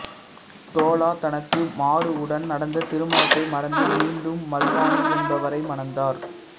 தோலா தனக்கு மாருவுடன் நடந்த திருமணத்தை மறந்து மீண்டும் மல்வானி என்பவரை மணந்தார்